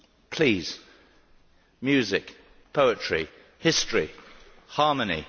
please music, poetry, history, harmony.